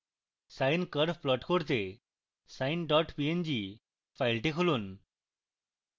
sine curve plot দেখতে sine png file খুলুন